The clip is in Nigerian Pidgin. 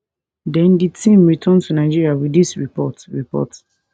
den di team return to nigeria wit dis report report